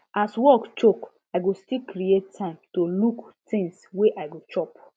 as work choke i go still create time to look things wey i go chop